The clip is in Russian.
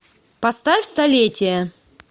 поставь столетие